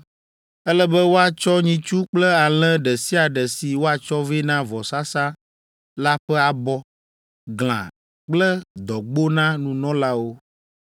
Ele be woatsɔ nyitsu kple alẽ ɖe sia ɖe si woatsɔ vɛ na vɔsasa la ƒe abɔ, glã kple dɔgbo na nunɔlawo.